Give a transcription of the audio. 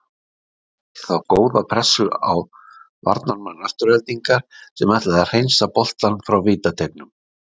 Sonja setti þá góða pressu á varnarmann Aftureldingar sem ætlaði að hreinsa boltann frá vítateignum.